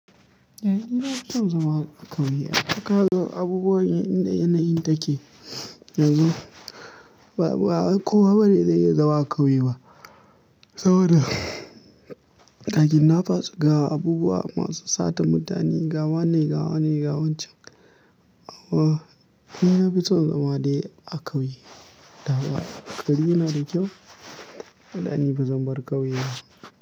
Eh ina son zama a ƙauye. A kallo abubuwan yanayi take yanzu ba kowa bane zai iya zama a ƙauye ba saboda ga kidnappers ga abubuwa masu sata mutane, ga wane, ga wane, ga wancan. Amma ni na fi son zama dai a ƙauye. Dama gari na da kyau dani ba zan bar ƙauye ba.